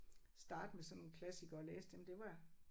Starte med sådan klassikere og læse dem det var